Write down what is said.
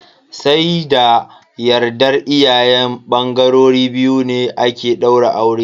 Sai da yardar iyayen bangarori biyu ne ake daura aure.